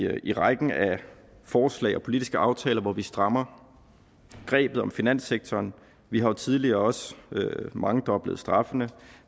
i rækken af forslag og politiske aftaler hvor vi strammer grebet om finanssektoren vi har jo tidligere også mangedoblet straffene